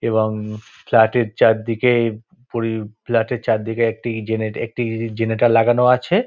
এবং ফ্ল্যাটের চারদিকে-এ পড়ি ফ্ল্যাটের চারদিকে একটি জেনে একটি জেনেটর লাগানো আছে--